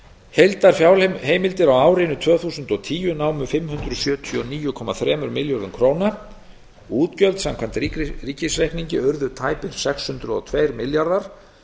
heildarfjárheimildir á árinu tvö þúsund og tíu námu fimm hundruð sjötíu og níu komma þremur milljörðum króna útgjöld samkvæmt ríkisreikningi urðu tæpir sex hundruð og tveir milljarðar